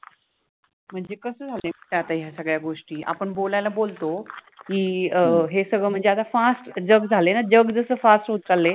मनजे कस झाल आहे कि आता ह्या सगळ्या गोष्टी आपन बोलायला बोलतो कि अ हे सगळ मनजे आता fast जग झाल आहे न जग जस fast होत चाललय